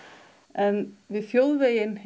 en við þjóðveginn